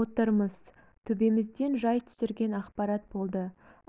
отырмыз төбемізден жай түсірген ақпарат болды